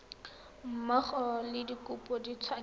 mmogo le dikopo di tshwanetse